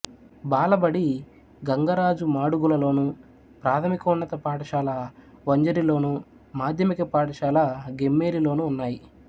బాలబడి గంగరాజు మాడుగులలోను ప్రాథమికోన్నత పాఠశాల వంజరిలోను మాధ్యమిక పాఠశాల గెమ్మేలిలోనూ ఉన్నాయి